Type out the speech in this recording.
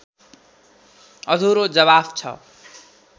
अधुरो जवाफ छ